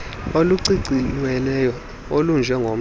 oluciciyelweyo olunje ngomgca